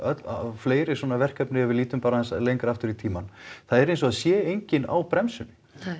fleiri svona verkefni ef við lítum bara aðeins lengra aftur í tímann það er eins og það sé enginn á bremsunni